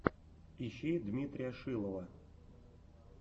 ищи дмитрия шилова